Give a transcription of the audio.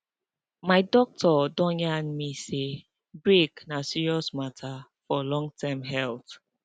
my doctor don yarn me say break na serious matter for longterm health